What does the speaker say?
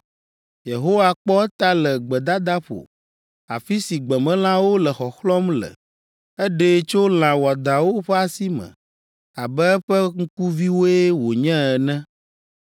Yehowa kpɔ eta le gbedadaƒo afi si gbemelãwo le xɔxlɔ̃m le eɖee tso lã wɔadãwo ƒe asi me abe eƒe ŋkuviwoe wònye ene.